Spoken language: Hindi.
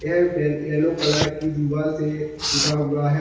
यह येलो कलर की दीवाल से पुता हुआ है।